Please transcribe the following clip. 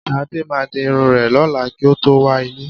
Ṣadé máa di irun rẹ̀ lọ́la kí ó tó wá ilé